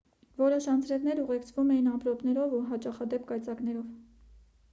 որոշ անձրևներ ուղեկցվում էին ամպրոպներով ու հաճախադեպ կայծակներով